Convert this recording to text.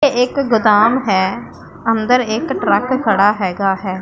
ਇਹ ਇੱਕ ਗੋਦਾਮ ਹੈ ਅੰਦਰ ਇੱਕ ਟਰੱਕ ਖੜਾ ਹਿਗਾ ਹੈ।